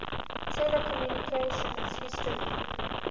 telecommunications history